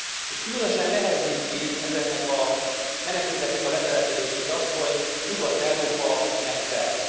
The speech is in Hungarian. És különösen nehezíti ezeknek a menekülteknek a letelepedését az, hogy Nyugat Európa megtelt.